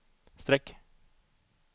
streck